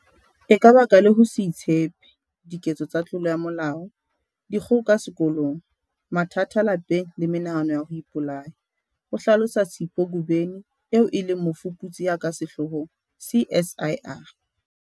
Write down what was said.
"E ka baka le ho se itshepe, diketso tsa tlolo ya molao, dikgoka sekolong, mathata lapeng le menahano ya ho ipolaya," ho hlalosa Sipho Ngobeni eo e leng mofuputsi ya ka sehloohong CSIR.